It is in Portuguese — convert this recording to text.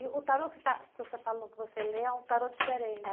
E o tarô que você está que você falou que você lê é um tarô diferente,